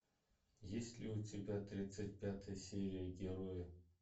есть ли у тебя тридцать пятая серия герои